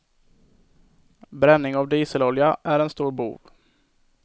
Bränning av dieselolja är en stor bov.